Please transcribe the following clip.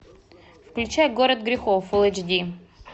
включай город грехов фул эйч ди